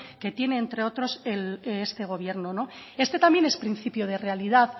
que tiene entre otros este gobierno este también es principio de realidad